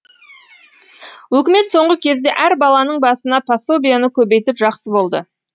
өкімет соңғы кезде әр баланың басына пособиені көбейтіп жақсы болды